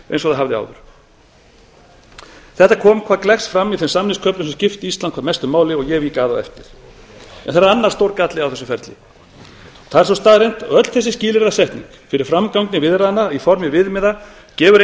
eins og það hafði áður þetta kom hvað gleggst fram í þeim samningaköflum sem skiptu ísland hvað mestu máli og ég vík að á eftir en það er annar stór galli á þessu ferli það er sú staðreynd að öll þessi skilyrðasetning fyrir framgangi viðræðna í formi viðmiða gefur